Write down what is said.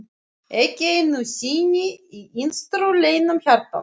Ekki einu sinni í innstu leynum hjartans!